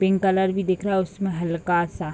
pink colour भी दिख रहा उसमे हल्का सा --